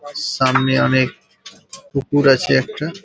সামনে অনেক পুকুর আছে একটা ।